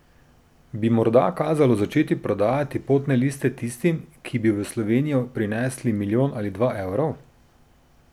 Bi morda kazalo začeti prodajati potne liste tistim, ki bi v Slovenijo prinesli milijon ali dva evrov?